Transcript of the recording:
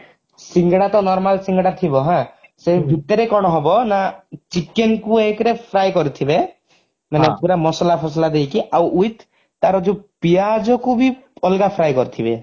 ସିଙ୍ଗଡା ତ normal ସିଙ୍ଗଡା ଥିବ ହାଁ ସେଇ ଭିତରେ କଣ ହବ ନା chicken କୁ ଏକରେ fry କରିଥିବେ ମାନେ ପୁରା ମସଲା ଫସଲା ଦେଇକି ଆଉ with ତାର ଯଉ ପିଆଜକୁ ବି ଅଲଗା fry କରିଥିବେ